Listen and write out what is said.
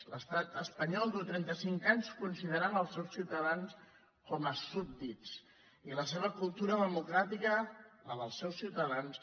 l’estat espanyol fa trentacinc anys que considera els seus ciutadans com a súbdits i la seva cultura democràtica la dels seus ciutadans